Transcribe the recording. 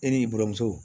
E ni i buranmuso